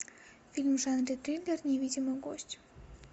фильм в жанре триллер невидимый гость